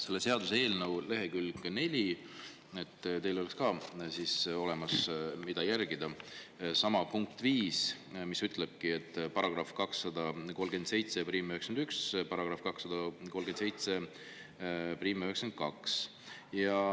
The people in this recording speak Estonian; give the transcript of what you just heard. Selle seaduseelnõu leheküljel 4 – et teil oleks, mida jälgida – on punkt 5, §-d 23791 ja 23792.